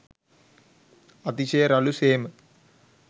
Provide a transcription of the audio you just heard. අතිශය රළු සේම